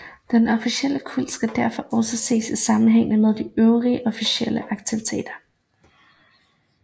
Den offentlige kult skal derfor også ses i sammenhæng med de øvrige offentlige aktiviteter